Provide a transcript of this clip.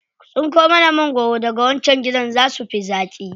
Ku tsinko mana magwaro daga wancan gidan, za su fi zaƙi.